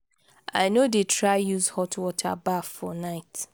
i no dey try use hot water baff for night.